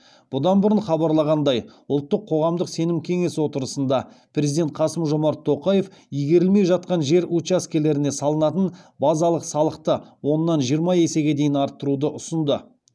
бұдан бұрын хабарланғандай ұлттық қоғамдық сенім кеңес отырысында президент қасым жомарт тоқаев игерілмей жатқан жер учаскелеріне салынатын базалық салықты оннан жиырма есеге дейін арттыруды ұсынды